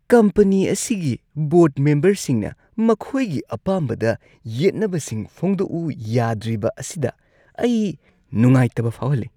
Company ꯑꯁꯤꯒꯤ ꯕꯣꯔꯗ ꯃꯦꯝꯕꯔꯁꯤꯡꯅ ꯃꯈꯣꯏꯒꯤ ꯑꯄꯥꯝꯕꯗ ꯌꯦꯠꯅꯕꯁꯤꯡ ꯐꯣꯡꯗꯣꯛꯎ ꯌꯥꯗ꯭ꯔꯤꯕ ꯑꯁꯤꯗ ꯑꯩ ꯅꯨꯡꯉꯥꯏꯇꯕ ꯐꯥꯎꯍꯜꯂꯤ꯫